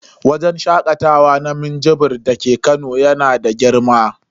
Wajen shakatawa na minjibir dake Kano yana da girma.